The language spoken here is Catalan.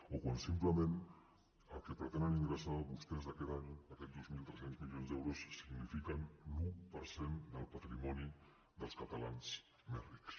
o quan simplement el que pretenen ingressar vostès aquest any aquests dos mil quatre cents i trenta milions d’euros signifiquen l’un per cent del patrimoni dels catalans més rics